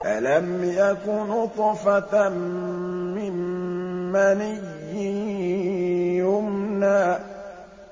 أَلَمْ يَكُ نُطْفَةً مِّن مَّنِيٍّ يُمْنَىٰ